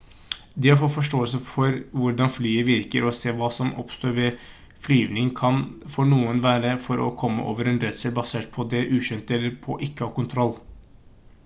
det å få forståelse for hvordan flyet virker og hva som oppstår ved flyvning kan for noen hjelpe for å komme over en redsel basert på det ukjente eller på ikke å ha kontroll